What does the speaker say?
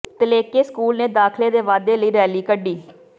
Dhalleke school ਨੇ ਦਾਖਲੇ ਦੇ ਵਾਧੇ ਲਈ ਰੈਲੀ ਕੱਢੀ